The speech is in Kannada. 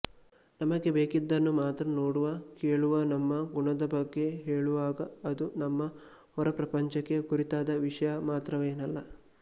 ನಮಗೆ ಬೇಕಿದ್ದನ್ನು ಮಾತ್ರ ನೋಡುವ ಕೇಳುವನಮ್ಮ ಗುಣದಬಗ್ಗೆ ಹೇಳುವಾಗ ಅದು ನಮ್ಮ ಹೊರಪ್ರಪಂಚಕ್ಕೆ ಕುರಿತಾದ ವಿಷಯ ಮಾತ್ರವೇನಲ್ಲ